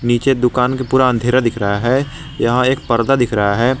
नीचे दुकान के पूरा अंधेरा दिख रहा है यहां एक पर्दा दिख रहा है।